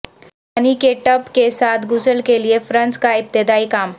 پانی کے ٹب کے ساتھ غسل کے لئے فرنس کا ابتدائی کام